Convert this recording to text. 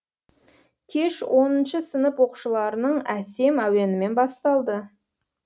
кеш оныншы сынып оқушыларының әсем әуенімен басталды